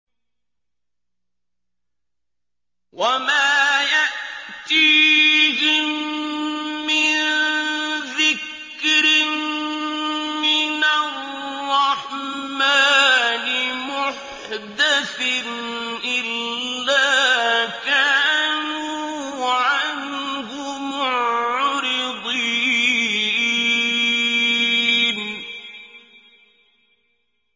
وَمَا يَأْتِيهِم مِّن ذِكْرٍ مِّنَ الرَّحْمَٰنِ مُحْدَثٍ إِلَّا كَانُوا عَنْهُ مُعْرِضِينَ